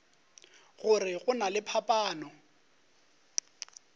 gore go na le phapano